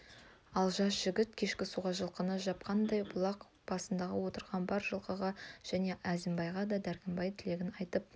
ал жас жігіт кешкі суға жылқыны жапқанда бұлақ басында отырған бар жылқышыға және әзімбайға да дәркембай тілегін айтып